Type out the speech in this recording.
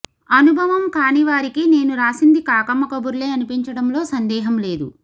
అనుభవం కానివారికి నేను రాసింది కాకమ్మ కబుర్లే అనిపించడంలో సందేహం లేదు